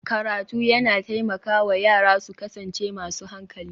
Karatu yana taimaka wa yara su kasance masu hankali